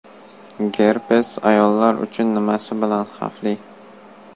Gerpes ayollar uchun nimasi bilan xavfli?.